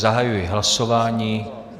Zahajuji hlasování.